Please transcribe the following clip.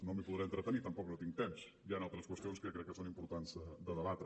no m’hi podré entretenir tampoc no tinc temps hi han altres qüestions que crec que són importants de debatre